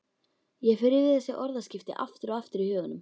Ég fer yfir þessi orðaskipti aftur og aftur í huganum.